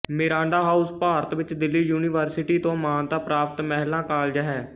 Miranda House Bharat ਵਿਚ Delhi university ਤੋਂ ਮਾਨਤਾ ਪ੍ਰਾਪਤ ਮਹਿਲਾ ਕਾਲਜ ਹੈ